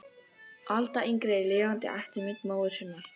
Alda yngri er lifandi eftirmynd móður sinnar.